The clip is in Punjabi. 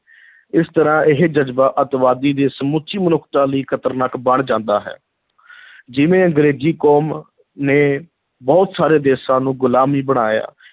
ਇਸ ਤਰ੍ਹਾਂ ਇਹ ਜਜ਼ਬਾ ਅੱਤਵਾਦੀ ਦੇ ਸਮੁੱਚੀ ਮਨੁੱਖਤਾ ਲਈ ਖ਼ਤਰਨਾਕ ਬਣ ਜਾਂਦਾ ਹੈ ਜਿਵੇਂ ਅੰਗਰੇਜ਼ੀ ਕੌਮ ਨੇ ਬਹੁਤ ਸਾਰੇ ਦੇਸ਼ਾਂ ਨੂੰ ਗੁਲਾਮੀ ਬਣਾਇਆ,